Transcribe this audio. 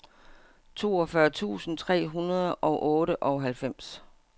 toogfyrre tusind tre hundrede og otteoghalvfems